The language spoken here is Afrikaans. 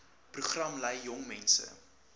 program lei jongmense